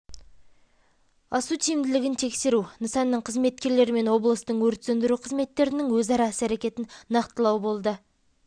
асу тиімділігін тексеру нысанның қызметкерлері мен облыстың өрт сөндіру қызметтерінің өзара іс-әрекетін нақтылау болды сағат